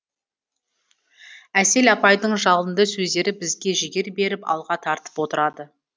әсел апайдың жалынды сөздері бізге жігер беріп алға тартып отырады